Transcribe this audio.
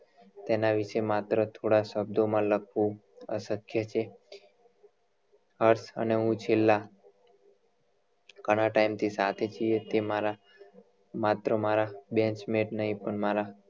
તેના વિશે માત્ર થોડા શબ્દ માં લખવું અશક્ય છે હર્ષ અને હું છેલ્લા ઘણા time થી સાથે છીએ તે મારા માત્ર મારા bantchment નહિ પણ